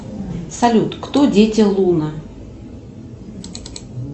салют кто дети луна